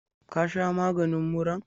Ka sha maganin muran?